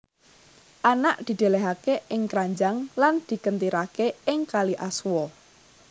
Anak didelehake ing kranjang lan dikentirake ing kali Aswa